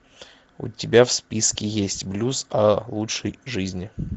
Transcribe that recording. у тебя в списке есть блюз о лучшей жизни